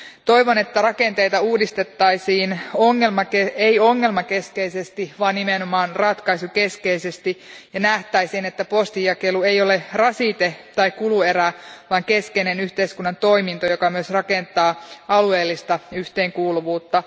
Toivon, että rakenteita ei uudistettaisi ongelmakeskeisesti, vaan nimenomaan ratkaisukeskeisesti, ja nähtäisiin, että postinjakelu ei ole rasite tai kuluerä, vaan keskeinen yhteiskunnan toiminto, joka myös rakentaa alueellista yhteenkuuluvuutta.